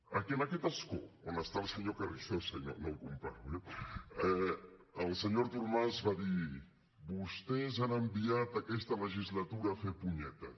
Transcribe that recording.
aquí en aquest escó on està el senyor carrizosa i no el comparo eh el senyor artur mas va dir vostès han enviat aquesta legislatura a fer punyetes